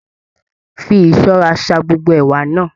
Fí ìṣọrà ṣà gbogbo ẹ̀wà náà!